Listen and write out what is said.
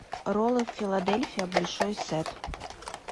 роллы филадельфия большой сет